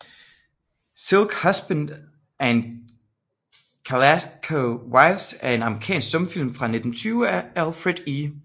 Silk Husbands and Calico Wives er en amerikansk stumfilm fra 1920 af Alfred E